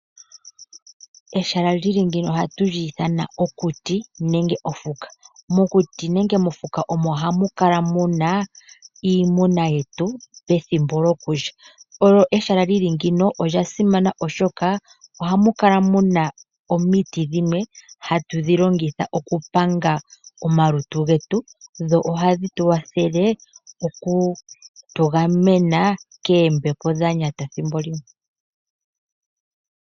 Ehala lili ngino ohali ithanwa okuti nenge mofuka. Mokuti nenge mofuka omo hamu kala muna iimuna yetu ethimbo lyokudha. Ehala lili ngeyi olya simana oshoka ohamu kala muna omiiti dhimwe hatu dhi longitha oku panga omalutu getu, dho ohadhi oku tu gamena koombepo dhanyata thimbo limwe.